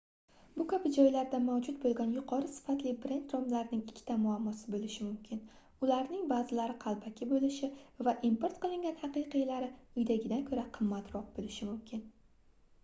bu kabi joylarda mavjud boʻlgan yuqori sifatli brend romlaring ikkita muammosi boʻlishi mumkin ularning baʼzilari qalbaki boʻlishi va import qilingan haqiqiylari uydagidan koʻra qimmatroq boʻlishi mumkin